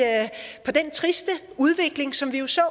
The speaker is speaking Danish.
den triste udvikling som vi så